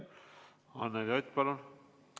Anneli Ott, palun!